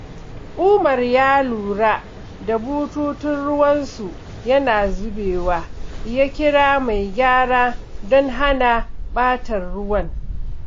Umar ya lura da bututun ruwansu yana zubewa, ya kira mai gyara don hana ɓatar ruwa.